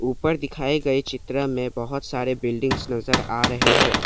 ऊपर दिखाए गए चित्र में बहोत सारे बिल्डिंग्स नजर आ रहे हैं।